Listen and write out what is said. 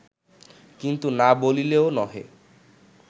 কিন্তু না বলিলেও নহে